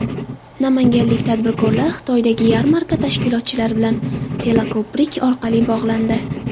Namanganlik tadbirkorlar Xitoydagi yarmarka tashkilotchilari bilan teleko‘prik orqali bog‘landi.